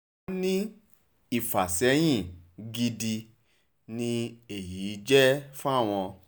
wọ́n ní ìfàsẹ́yìn gidi ni èyí jẹ́ fáwọn